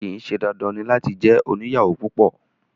Kìí ṣe dandan ní láti jẹ oniyawo púpọ